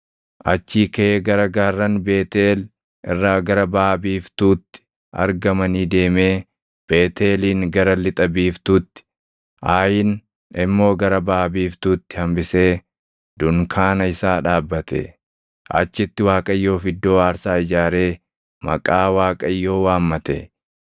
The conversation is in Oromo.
Achii kaʼee gara gaarran Beetʼeel irraa gara baʼa biiftuutti argamanii deemee Beetʼeelin gara lixa biiftuutti, Aayin immoo gara baʼa biiftuutti hambisee dunkaana isaa dhaabbate. Achitti Waaqayyoof iddoo aarsaa ijaaree maqaa Waaqayyoo waammate.